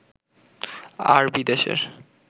আর বিদেশের